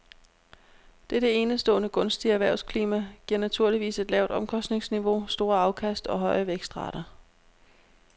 Dette enestående gunstige erhvervsklima giver naturligvis et lavt omkostningsniveau, store afkast og høje vækstrater.